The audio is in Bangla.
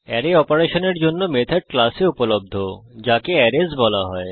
অ্যারে অপারেশনের জন্য মেথড ক্লাস এ উপলব্ধ যাকে অ্যারেস বলা হয়